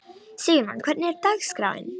Sigurmon, hvernig er dagskráin?